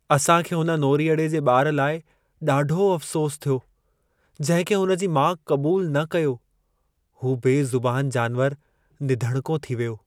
असां खे हुन नोरीअड़े जे ॿार लाइ ॾाढो अफ़सोसु थियो जंहिं खे हुन जी माउ क़बूल न कयो। हू बेज़ुबानु जानवारु निधणिको थी वियो।